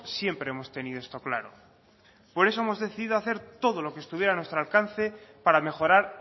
siempre hemos tenido esto claro por eso hemos decidido hacer todo lo que estuviera a nuestro alcance para mejorar